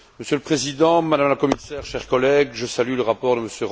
Monsieur le Président, Madame la Commissaire, chers collègues, je salue le rapport de M.